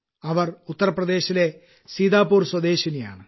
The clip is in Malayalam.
അവർ ഉത്തർപ്രദേശിലെ സീതാപൂർ സ്വദേശിനിയാണ്